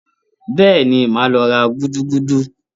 Bẹ́ẹ̀ni, màá lọ ra gúdúgúdú?